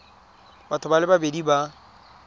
batho ba le babedi ba